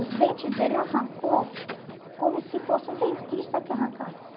Os dentes dele arrancou como se fosse o dentista que arrancasse.